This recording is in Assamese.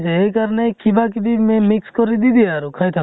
সেইকাৰণে কিবা কিবি মি mix কৰি দি দিয়ে আৰু, খায় থাক ।